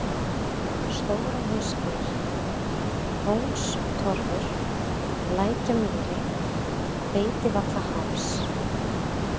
Stórahnausgil, Kóngstorfur, Lækjamýri, Beitivallaháls